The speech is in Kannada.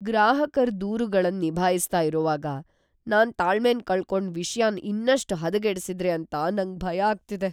ಗ್ರಾಹಕರ್ ದೂರುಗಳನ್ ನಿಭಾಯಿಸ್ತ ಇರೋವಾಗ್ ನಾನ್ ತಾಳ್ಮೆನ್ ಕಳ್ಕೊಂಡ್ ವಿಷಯನ್ ಇನ್ನಷ್ಟ್ ಹದಗೆಡಿಸಿದ್ರೆ ಅಂತ ನಂಗ್ ಭಯ ಆಗ್ತಿದೆ.